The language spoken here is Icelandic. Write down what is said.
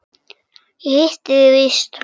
Ég hitti þig víst!